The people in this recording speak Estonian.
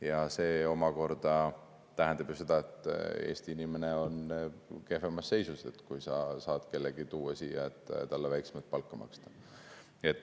Ja see omakorda tähendab seda, et Eesti inimene on kehvemas seisus, kui tuua siia keegi, kellele saab väiksemat palka maksta.